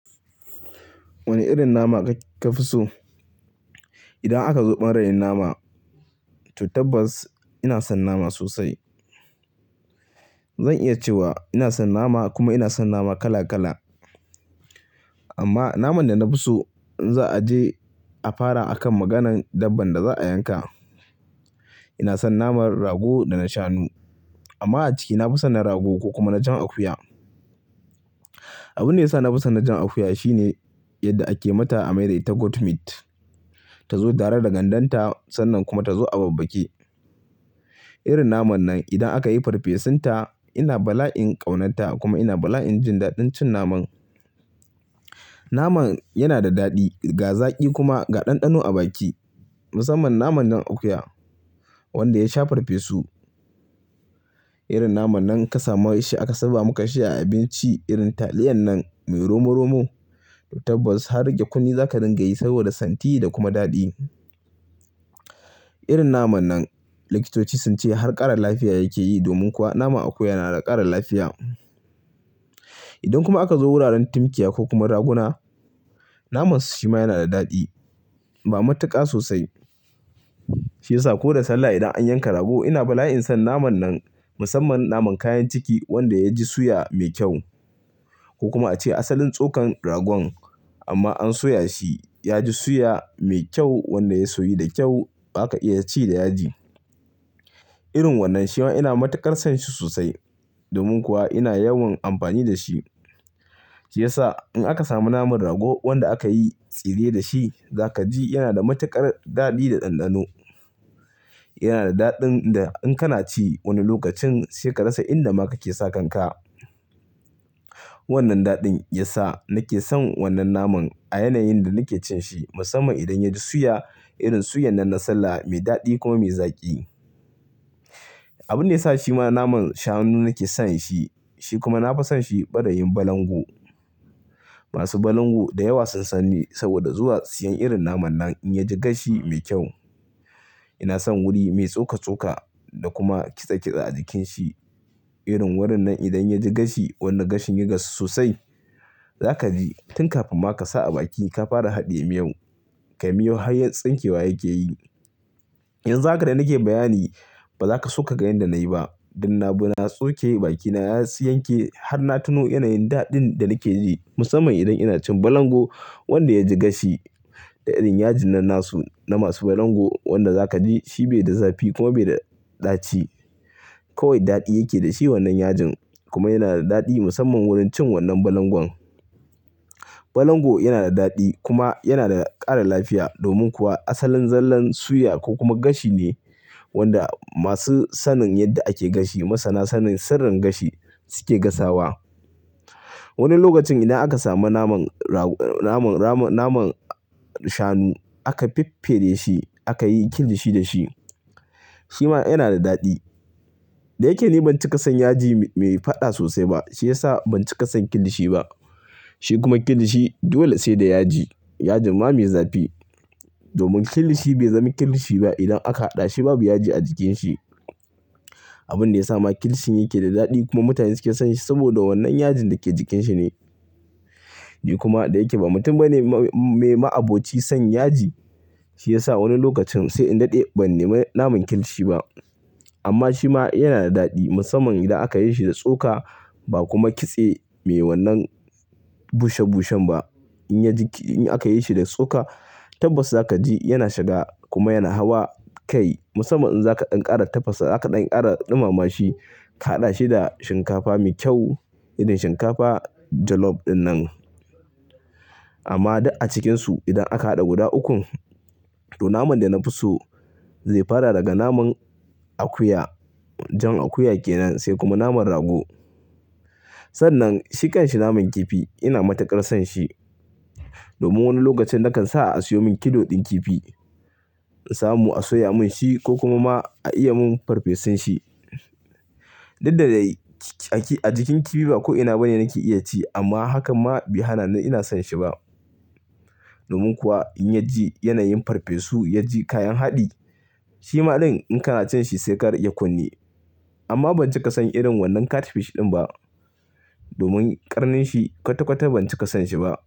Wane irin nama kafi so? Idan aka zo ba rayin nama, to tabbas ina son nama sosai. Zan iya cewa ina son nama kuma ina son nama kala kala. Amma naman da na fi so, in za a je a fara akan maganan dabban da za a yanka. Ina son naman rago da na shanu. Amma a ciki, na fi son na rago ko kuma na jan akuya. Abun da ya sa na fi son na jan akuya shine yadda ake mata amai dai ta goat meat. Ta zo tare da gandanta sannan kuma ta zo a babbake. Irin naman nan idan aka yi farfesun ta, ina bala'in ƙaunata kuma ina bala'in jin daɗin cin naman. Naman yana da daɗi, ga zaƙi kuma ga ɗanɗano a baki. Musamman naman jan akuya wanda ya sha farfesu. Irin naman nan ka samu shi aka saba maka shi a abinci irin taliyan nan mai romo romo, to tabbas har rage kunne za ka dinga yi saboda santi da kuma daɗi. Irin naman nan likitoci sun ce har ƙara lafiya yake yi domin kuwa naman akuya yana da ƙara lafiya. Idan kuma aka zo wuraren timkiya ko kuma raguna, naman su shima yana da daɗi, ma matuƙa sosai. Shi ya sa ko da sallah idan an yanka rago ina bala'in son naman nan musamman naman kayan ciki wanda ya ji suya mai kyau. Ko kuma ace asalin tsokan ragon amma an soya shi, ya ji suya mai kyau wanda ya soyu da kyau aka iya ci da yaji. Irin wannan shi ma ina matuƙar son shi sosai domin kuwa ina yawan amfani da shi. Shi ya sa in aka samu naman rago wanda aka yi tsire da shi, za ka ji yana da matuƙar daɗi da ɗanɗano. Yana da daɗin da in kana ci wani lokacin sai ka rasa inda ma kake sakan ka. Wannan daɗin ya sa nake son wannan naman a yanayin da nake cin shi musamman idan ya ji suya irin suyan nan na sallah mai daɗi kuma mai zaƙi. Abun da ya sa shi ma naman shanu nake son shi, shi kuma na fi son shi, barayin balangu. Masu balangu da yawa sun sanni saboda zuwa siyan irin naman nan in ya ji gashi mai kyau. Ina son wuri mai tsoka tsoka da kuma kitse kitse a jikin shi. Irin wurin nan idan ya ji gashi, wannan gashin ya gasu sosai, za ka ji tun kafin ma ka sa a baki ka fara haɗiye miyau, kai miyau har ya tsinke wa yake yi. Yanxu haka da nake bayani ba za ka soka ganin da na yi ba. Dunna bu na tsoke bakina na yi yanke har na tuno yanayin daɗin da nake ji musamman idan ina cin balangu wanda ya ji gashi. Da irin yajin nan na su na masu balangu wanda za ka ji shi bai da zafi kuma bai da ɗaci. Kawai daɗi yake da shi wannan yajin kuma yana da daɗi musamman wurin cin wannan balangon. Balangu yana da daɗi kuma yana da ƙara lafiya domin kuwa asalin zallan suya ko kuma gashi ne wanda masu sanin yadda ake gashi masana sanin sirrin gashi suke gasawa. Wani lokacin idan aka samu naman rag-- naman rama-- naman shanu aka fiffire shi aka yi kilishi da shi, shi ma yana da daɗi. Da yake ni ban ci ƙasan yaji mai faɗa sosai ba shi ya sa ban ci ƙasan kilishi ba. Shi kuma kilishi dole sai da yaji. Yajin ma mai zafi. Domin kilishi bai zami kilishi ba idan aka haɗa shi babu yaji a jikin shi. Abun da ya sa ma kilishi yake da daɗi kuma mutane suke son shi saboda wannan yajin da ke jikin shi ne. Ni kuma da yake ba mutum bane mai ma'aboci son yaji, shi ya sa wani lokacin sai in daɗe ban nemi naman kilishi ba. Amma shi ma yana da daɗi musamman idan aka yi shi da tsoka ba kuma kitse mai wannan bushe bushen ba. In ya ji ki-- in aka yi shi da tsoka tabbas za ka ji yana shiga kuma yana hawa kai musamman in za ka ɗan ƙara tafasa, za ka ɗan ƙara ɗumama shi, ka haɗa shi da shinkafa mai kyau irin shinkafa jollof ɗinnan. Amma duk a cikinsu idan aka haɗa guda ukun, to naman da na fi so zai fara daga naman akuya, jan akuya kenan sai kuma naman rago. Sannan shi ƙanshi naman kifi ina matuƙar son shi. Domin wani lokacin nakan sa a siyo min kilo ɗin kifi, in samu a soya mun shi ko kuma ma a iya mun farfesun shi. Duk da dai a jikin kifi ba ko ina bane nake iya ci amma hakan ma bai hana ni ina son shi ba. Domin kuwa in ya ji yanayin farfesu, ya ji kayan haɗi, shi maɗin in kana cin shi sai karike ƙunni. Amma ban ci ƙasan irin wannan catfish ɗin ba. Domin ƙarnin shi kwata kwata ban ci ƙasan shi ba.